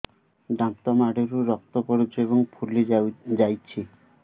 ଦାନ୍ତ ମାଢ଼ିରୁ ରକ୍ତ ପଡୁଛୁ ଏବଂ ଫୁଲି ଯାଇଛି